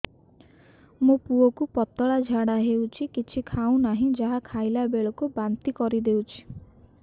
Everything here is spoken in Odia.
ମୋ ପୁଅ କୁ ପତଳା ଝାଡ଼ା ହେଉଛି କିଛି ଖାଉ ନାହିଁ ଯାହା ଖାଇଲାବେଳକୁ ବାନ୍ତି କରି ଦେଉଛି